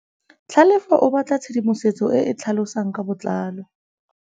Tlhalefô o batla tshedimosetsô e e tlhalosang ka botlalô.